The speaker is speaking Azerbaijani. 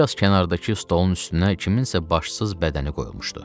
Bir az kənardakı stolun üstünə kiminsə başsız bədəni qoyulmuşdu.